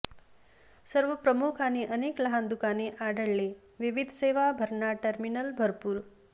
सर्व प्रमुख आणि अनेक लहान दुकाने आढळले विविध सेवा भरणा टर्मिनल भरपूर